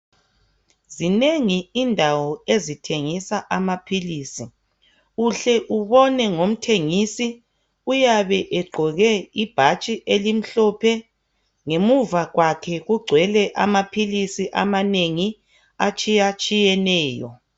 Zinengi indawo ezithengisa amaphilisi uhle ubone ngomthengisi uyabe egqoke ibhatshi elimhlophe ngemuva kwakhe kugcwele amaphilisi amanengi atshiya-tshiyeneyo